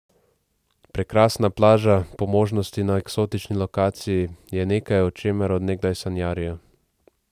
Prekrasna plaža, po možnosti na eksotični lokaciji, je nekaj, o čemer od nekdaj sanjarijo.